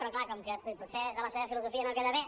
però clar com que potser des de la seva filosofia no queda bé